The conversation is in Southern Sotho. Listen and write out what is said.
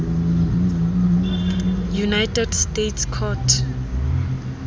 united states court